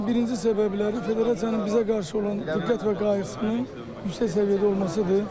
Bu qələbənin birinci səbəbləri federasiyanın bizə qarşı olan diqqət və qayğısının yüksək səviyyədə olmasıdır.